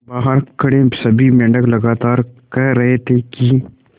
बहार खड़े सभी मेंढक लगातार कह रहे थे कि